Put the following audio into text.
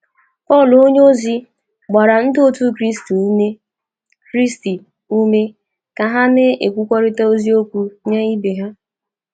Pọl onyeozi gbara ndị otu Kraịst ume Kraịst ume ka ha ‘ na-ekwurịta eziokwu nye ibe ha.